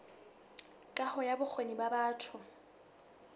kaho ya bokgoni ba batho